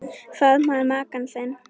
Faðmaðu maka þinn.